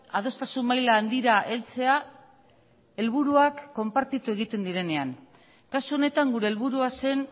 adostasun maila handira heltzea helburuak konpartitu egiten direnean kasu honetan gure helburua zen